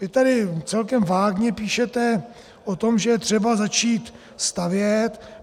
Vy tady celkem vágně píšete o tom, že je třeba začít stavět.